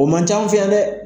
O man ca an fɛ yan dɛ.